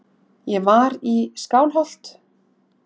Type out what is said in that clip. Ég var í Skálholt.